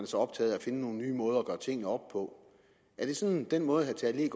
så optaget af at finde nye måder at gøre tingene op på er det sådan den måde herre tage